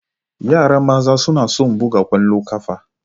Yara Maza suna son Buga Kwallon kafa